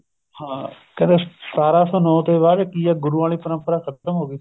ਹਾਂ ਕਹਿੰਦਾ ਸਤਾਰਾਂ ਸੋ ਨੋ ਤੋਂ ਬਾਅਦ ਕੀ ਏ ਗੁਰੂਆ ਆਲੀ ਪਰੰਪਰਾ ਖਤਮ ਹੋ ਗਈ